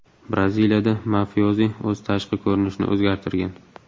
Braziliyada mafiozi o‘z tashqi ko‘rinishini o‘zgartirgan.